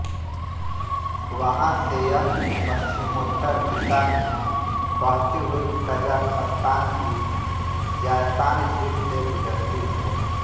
वहाँ से यह पश्चिमोत्तर दिशा में बहती हुई कज़ाख़स्तान की ज़ायसान झील से गुज़रती है